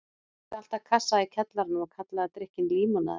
Hún átti alltaf kassa í kjallaranum og kallaði drykkinn límonaði.